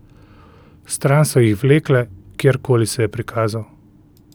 Stran so jih vlekle, kjerkoli se je prikazal ...